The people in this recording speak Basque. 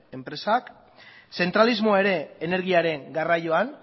enpresak zentralismoa ere energiaren garraioan